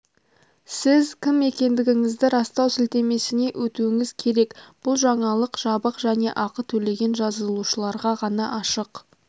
сіз кім екендігіңізді растау сілтемесіне өтуіңіз керек бұл жаңалық жабық және ақы төлеген жазылушыларға ғана ашық